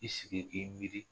I sigi k'i miiri